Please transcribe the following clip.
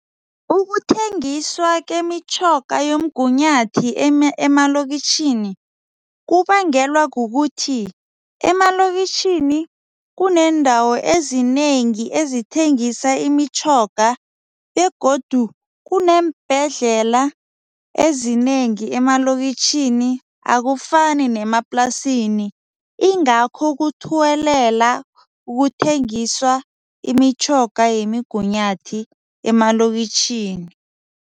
Ukuthengiswa kemitjhoga yomgunyathi emalokitjhini kubangelwa kukuthi emalokitjhini kuneendawo ezinengi ezithengisa imitjhoga begodu kuneembhedlela ezinengi emalokitjhini akufani nemaplasini, ingakho kuthuwelela ukuthengiswa imitjhoga yemigunyathi emalokitjhini.